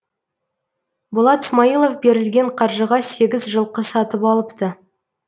болат смаилов берілген қаржыға сегіз жылқы сатып алыпты